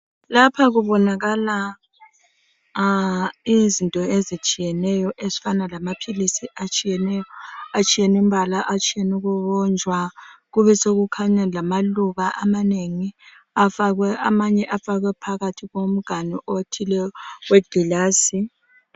Lapha kubonakala izinto ezitshiyeneyo ezifana lamaphilisi atshiyeneyo, atshiyene imbala atshiyene ukubunjwa kubesekukhanya lamaluba amanengi amanye afakwe phakathi komganu othile we glass.